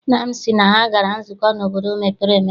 Nna m sị na ha gara nzukọ n'obodo mepere emepe.